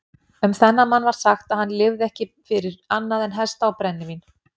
Um þennan mann var sagt að hann lifði ekki fyrir annað en hesta og brennivín.